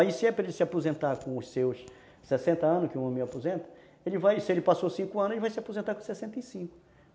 Aí se ele se aposentar com os seus sessenta anos, que o homem aposenta, se ele passou cinco anos, ele vai se aposentar com sessenta e cinco